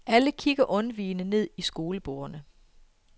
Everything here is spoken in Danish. Alle kigger undvigende ned i skolebordene.